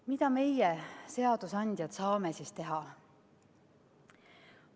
Mida meie, seadusandjad, saame siis teha?